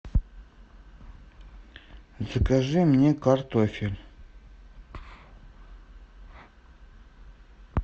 закажи мне картофель